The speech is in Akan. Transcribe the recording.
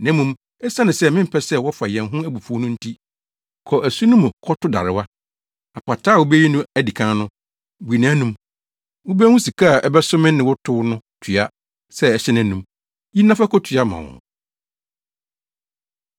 Na mmom, esiane sɛ mempɛ sɛ wɔfa yɛn ho abufuw no nti, kɔ asu no mu kɔto darewa. Apataa a wubeyi no adi kan no, bue nʼanom. Wubehu sika a ɛbɛso me ne wo tow no tua sɛ ɛhyɛ nʼanom; yi na fa kotua ma wɔn.”